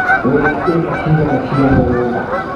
Wĩna ĩka cigana cia mũgũnda.